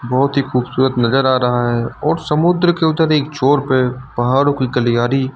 बहुत ही खूबसूरत नजर आ रहा है और समुद्र के उधर एक छोर पे पहाड़ों की गलियारी--